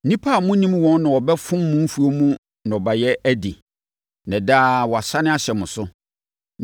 Nnipa a monnim wɔn na wɔbɛfo mo mfuo mu nnɔbaeɛ adi, na daa wɔasane ahyɛ mo so.